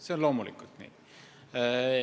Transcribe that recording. See on loomulikult nii.